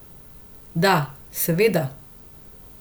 Da, seveda.